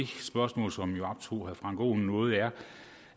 spørgsmål som jo optog herre frank aaen noget